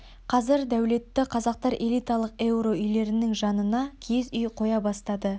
қазір дәулетті қазақтар элиталық еуро үйлерінің жанына киіз үй қоя бастады